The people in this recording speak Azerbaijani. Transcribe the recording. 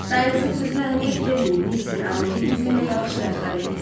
Dayınızın sözünə əhəmiyyət verməyin, mister Arohet bizimlə yaxşı rəftar eləyir.